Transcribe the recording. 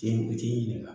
Den fitiinin kan